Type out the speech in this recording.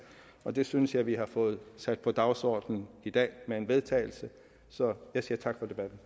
og det synes jeg vi har fået sat på dagsordenen i dag med et vedtagelse så jeg siger tak